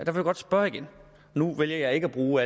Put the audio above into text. godt spørge igen nu vælger jeg ikke at bruge